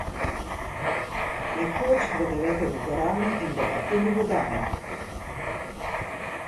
Nekoč za devetimi gorami in devetimi vodami ...